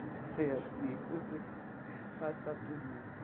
Você é assim, você passa por isso.